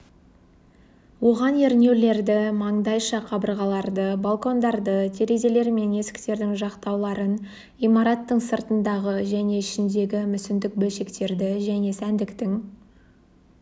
оған ернеулерді мандайша қабырғаларды балкондарды терезелер мен есіктердің жақтауларын имараттың сыртындағы және ішіндегі мүсіндік бөлшектерді және сәндіктің